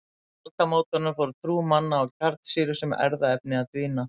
Upp úr aldamótunum fór trú manna á kjarnsýru sem erfðaefni að dvína.